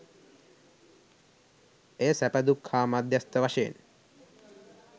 එය සැප, දුක් හා මධ්‍යස්ථ වශයෙන්